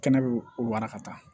Kɛnɛ bɛ waraka